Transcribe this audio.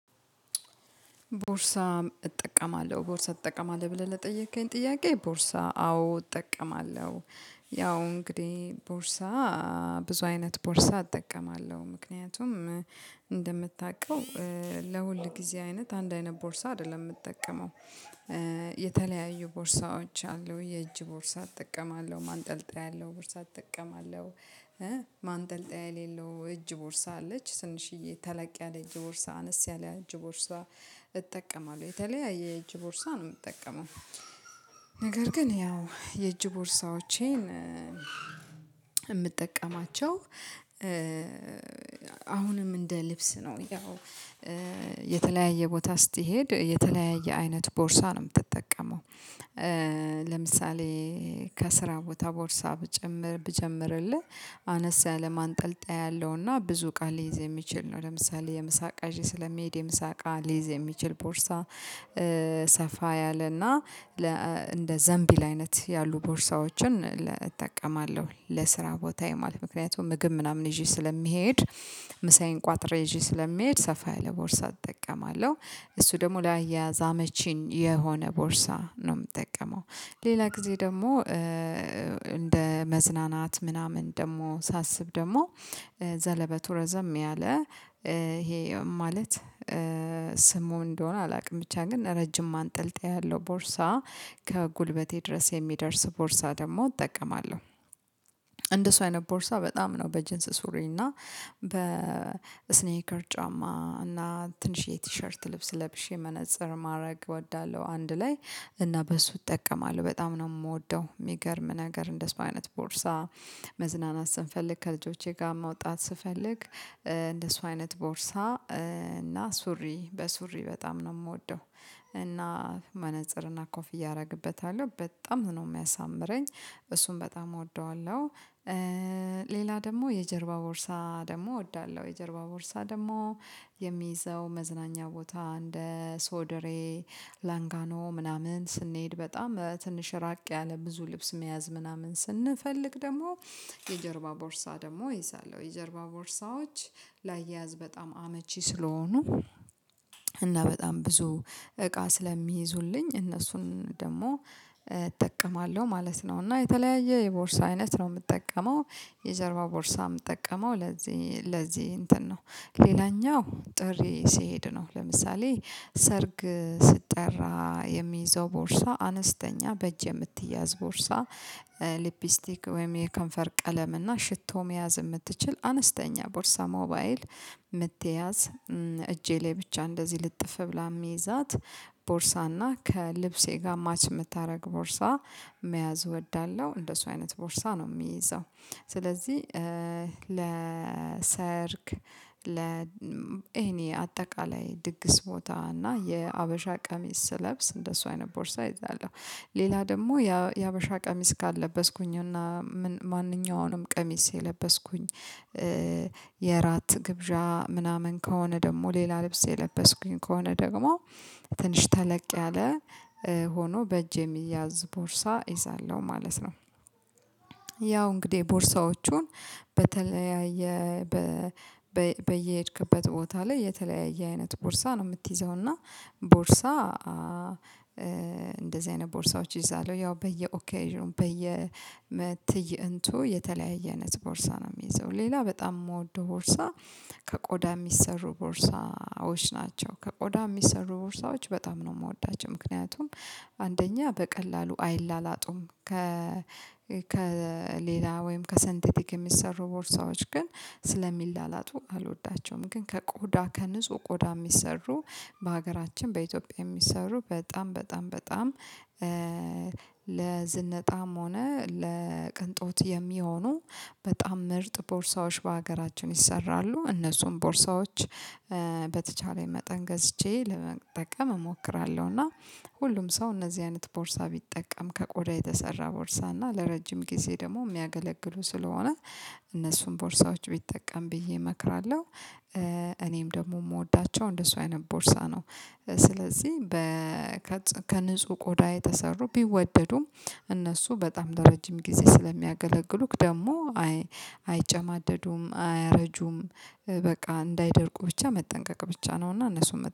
ቦርሳ እጠቀማለሁ ቦርሳ እጠቀማለሁ ብለህ ለጠየከኝ ጥያቄ ቦርሳ አዎ እጠቀማለሁ። ያው እንግዲህ ቦርሳ ብዙ አይነት ቦርሳ እጠቀማለሁ ምክንያቱም እንደምታውቀው ለሁል ጊዜ አይነት አንድ አይነት ቦርሳ አይደለም የምጠቀመው። የተለያዩ ቦርሳዎች አሉ የእጅ ቦርሳ እጠቀማለሁ ማንጠልጠያ ያለው ቦርሳ እጠቀማለሁ የሌለው እጅ ቦርሳ አለች ትንሽዬ ተለቅ ያለ እጅ ቦርሳ አነስ ያለ እጅ ቦርሳ እጠቀማለሁ የተለያየ እጅ ቦርሳ ነው የምጠቀመው። ነገር ግን ያው የእጅ ቦርሳዎቼን የምጠቀማቸው አሁንም እንደ ልብስ ነው ያው የተለያየ ቦታ ስትሄድ የተለያየ አይነት ቦርሳ ነው የምትጠቀመው። ለምሳሌ ከስራ ቦታ ቦርሳ ብጀምር ብጀምርልህ አነስ ያለ ማንጠልጠያ ያለውና ብዙ ቃል ሊይዝ የሚችል ነው ለምሳሌ የምሳ እቃ ይዤ ስለሚሄድ የምሳ እቃ ሊይዝ የሚችል ቦርሳ። ሰፋ ያለና እንደ ዘንቢል አይነት ያሉ ቦርሳዎችን እጠቀማለሁ ለስራ ቦታ ማለት ምክንያት ምግብ ምናምን ይዤ ስለምሄድ ምሳዬን ቋጥሬ ይዥዒዕ ስለሚሄድ ሰፋ ያለ ቦርሳ እጠቀማለሁ። እሱ ደግሞ ለአያያዝ አመቺ የሆነ ቦርሳ ነው የምጠቀመው። ሌላ ጊዜ ደግሞ እንደ መዝናናት ምናምን ደግሞ ሳስብ ደግሞ ዘለበቱ ረዘም ያለ ይሄ ማለት ስሙ እንደሆነ አላውቅም ብቻ ግን ረጅም ማንጠልጠይ ያለው ቦርሳ ከጉልበቴ ድረስ የሚደርስ ቦርሳ ደግሞ እጠቀማለሁ። እንደሱ አይነት ቦርሳ በጣም ነው በጅንስ ሱሪ እና በስኔከር ጫማ እና ትንሽዬ ቲሸርት ልብስ ለብሼ መነፀር ማድረግ እወዳለሁ። አንድ ላይ እና በሱ እጠቀማለሁ በጣም ነው የምወደው። የሚገርም ነገር እንደሱ አይነት ቦርሳ መዝናናት ስንፈልግ ከልጆቼ ጋር መውጣት ስፈልግ እንደሱ አይነት ቦርሳ እና ሱሪ በሱሪ በጣም ነው የምወደው እና መነፀርና ኮፍያ አደርግበታለሁ በጣም ነው የሚያሳምረኝ እሱን በጣም እወደዋለሁ። ሌላ ደግሞ የጀርባ ቦርሳ ደግሞ እወዳለሁ የጀርባ ቦርሳ ደግሞ የሚይዘው መዝናኛ ቦታ እንደ ሶደሬ ላንጋኖ ምናምን ስንሄድ በጣም ትንሽ ራቅ ያለ ብዙ ልብስ መያዝ ምናምን ስንፈልግ ደግሞ የጀርባ ቦርሳ ደግሞ እይዛለሁ። የጀርባ ቦርሳዎች ላያያዝ በጣም አመቺ ስለሆኑ እና በጣም ብዙ እቃ ስለሚይዙልኝ እነሱን ደግሞ እጠቀማለሁ ማለት ነው። እና የተለያየ የቦርሳ አይነት ነው የምጠቀመው። የጀርባ ቦርሳ የምጠቀመው ለዚህ ለዚህ እንትን ነው። ሌላኛው ጥሪ ሲሄድ ነው ለምሳሌ ሰርግ ስጠራ የሚይዘው ቦርሳ አነስተኛ በእጅ የምትያዝ ቦርሳ። ሊፕስቲክ ወይም የከንፈር ቀለም እና ሽቶ መያዝ የምትችል አነስተኛ ቦርሳ ሞባይል የምትያዝ እጄ ላይ ብቻ እንደዚህ ልጥፍ ብላ የምይዛት ቦርሳና ከልብሴ ጋር ማች የምታደርግ ቦርሳ መያዝ እወዳለሁ። እንደሱ አይነት ቦርሳ ነው የሚይዘው ስለዚህ ለሰርግ እኔ አጠቃላይ ድግስ ቦታ እና የሀበሻ ቀሚስ ስለብስ እንደሱ አይነት ቦርሳ እይዛለሁ። ሌላ ደግሞ የሀበሻ ቀሚስ ካልለበስኩኝ እና ማንኛውንም ቀሚስ ከለበስኩኝ የራት ግብዣ ምናምን ከሆነ ደግሞ ሌላ ልብስ የለበስኩኝ ከሆነ ደግሞ ትንሽ ተለቅ ያለ ሆኖ በእጄ የሚያዝ ቦርሳ እይዛለሁ ማለት ነው። ያው እንግዲህ ቦርሳዎቹን በተለያየ በየሄድክበት ቦታ ላይ የተለያየ አይነት ቦርሳ ነው የምትይዘው እና ቦርሳ እንደዚህ አይነት ቦርሳዎች ይይዛሉ ያው በየኦኬዥኑ በየመትይ እንትኑ የተለያየ አይነት ቦርሳ ነው የምይዘው ሌላ በጣም የምወደው ቦርሳ። ከቆዳ የሚሰሩ ቦርሳዎች ናቸው ከቆዳ የሚሰሩ ቦርሳዎች በጣም ነው የምወዳቸው። ምክንያቱም አንደኛ በቀላሉ አይላላጡም ከ ከሌላ ወይም ከሰንቴቲክ የሚሰሩ ቦርሳዎች ግን ስለሚላላቱ አልወዳቸውም። ግን ከቆዳ ከንጹህ ቆዳ የሚሰሩ በሀገራችን በኢትዮጵያ የሚሰሩ በጣም በጣም በጣም ለዝነጣም ሆነ ለቅንጦት የሚሆኑ በጣም ምርጥ ቦርሳዎች በሀገራችን ይሰራሉ። እነሱም ቦርሳዎች በተቻለ መጠን ገዝቼ ለመጠቀም እሞክራለሁ። እና ሁሉም ሰው እነዚህ አይነት ቦርሳ ቢጠቀም ከቆዳ የተሰራ ቦርሳ እና ለረጅም ጊዜ ደግሞ የሚያገለግሉ ስለሆነ እነሱን ቦርሳዎች ቢጠቀም ብዬ እመክራለሁ። እኔም ደግሞ የምወዳቸው እንደሱ አይነት ቦርሳ ነው። ስለዚህ በ ከንጹህ ቆዳ የተሰሩ ቢወደዱም እነሱ በጣም ለረጅም ጊዜ ስለሚያገለግሉክ ደግሞ አይጨማደዱም አያረጁም። በቃ እንዳይደርቁ ብቻ መጠንቀቅ ብቻ ነውና እነሱን